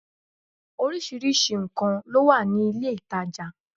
Orísirísi nkàn ló wà ní ilé ìtajà